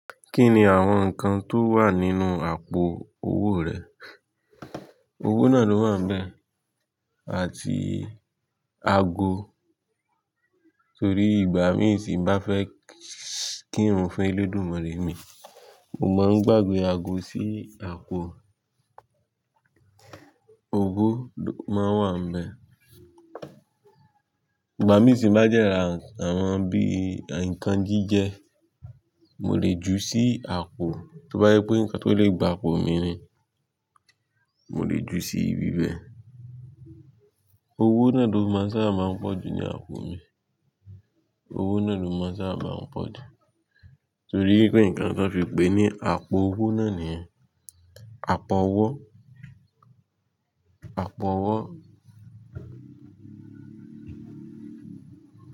Kí ni àwọn nǹkan tó wà nínú àpò owó rẹ? Owó náà ló wáa ń bẹ àti ago torí ìgbà mí tì bá fẹ́ kí irun fún ẹlẹ́dùúmare mi, mo máa ń gbàgbe ago sí àpò owó máa wà ń bẹ. Ìgbà mí tì bá dẹrà àwọn bí i nǹkan jíjẹ, mo lè ju sí àpò, tó bá jé pé nǹkan tó lè gba àpò mi ni, mo lè ju sí ibi bẹ. Owó náà ló máa n sábà máa ń pọ̀jù ní àpò mi, owó náà ló máa n sábà máa ń pọ̀ jù. Torí pé nǹkan tí wọ́n fi pè é ni àpò owó náà niyan àpọ̀ owó, àpọ̀ owó.